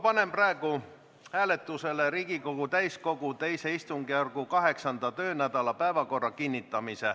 Panen praegu hääletusele Riigikogu täiskogu II istungjärgu 8. töönädala päevakorra kinnitamise.